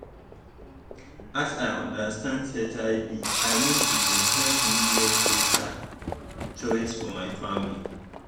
as i understand hiv i mean e dey help me make better choice for my family